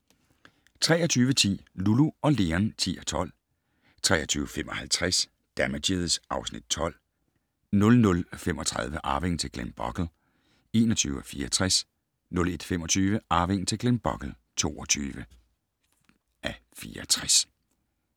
23:10: Lulu & Leon (10:12) 23:55: Damages (Afs. 12) 00:35: Arvingen til Glenbogle (21:64) 01:25: Arvingen til Glenbogle (22:64)